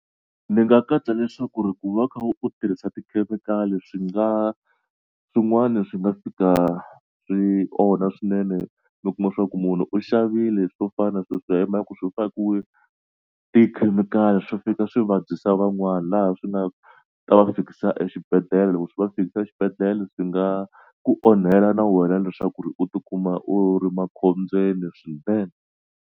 Ni nga katsa leswaku ri ku va u kha u tirhisa tikhemikhali swi nga swin'wani swi nga fika swi onha swinene ni kuma swa ku munhu u xavile swo fana na hi mhaka ku swi fakiwe tikhemikhali swo fika swi vabyisa van'wana laha swi nga ta va fikisa exibedhlele ku swi va fikisa xibedhlele swi nga ku onhela na wena leswaku ri u tikuma u ri makhombyeni swinene.